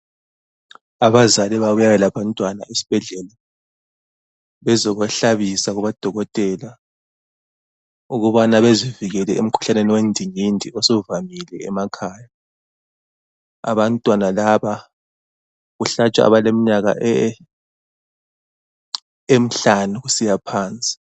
Abazali babuya labantwana esibhedlela bezobahlabisa kubodokotela ukubana bezivikele emkhuhlaneni wendingindi osuvamile emakhaya. Abantwana laba kuhlatshwa abaleminyaka emihlanu kusiya phansi.